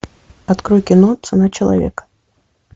открой кино цена человека